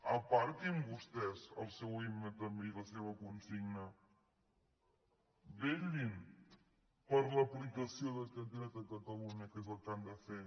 aparquin vostès el seu himne també i la seva consigna vetllin per l’aplicació d’aquest dret a catalunya que és el que han de fer